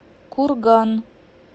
курган